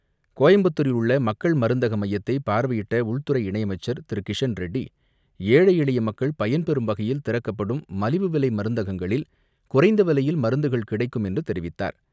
கோயம்புத்தூரில் உள்ள மக்கள் மருந்தகமையத்தை பார்வையிட்ட உள்துறை இணையமைச்சர் திரு கிஷன் ரெட்டி, ஏழை, எளியமக்கள் பயன்பெறும் வகையில் திறக்கப்படும் மலிவு விலைமருந்தகங்களில், குறைந்தவிலையில் மருந்துகள் கிடைக்கும் என்றுதெரிவித்தார்.